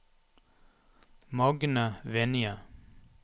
Magne Vinje